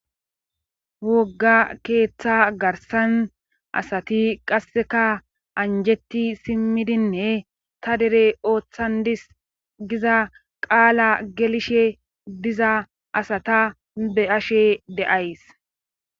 Wogga keeththa garssan asati qasseka anjetti simmidinne ta dere ooththandis giza qaala gelishe diza asata be'ashe de'ays